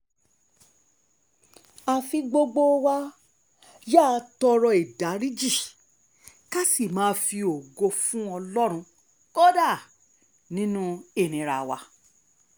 àfi ìí gbogbo wa yáa tọrọ àforíjì ká sì máa fi ògo fún ọlọ́run kódà nínú ìnira wa